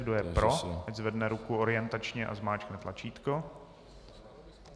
Kdo je pro, ať zvedne ruku orientačně a zmáčkne tlačítko.